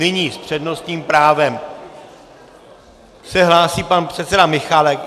Nyní s přednostním právem se hlásí pan předseda Michálek.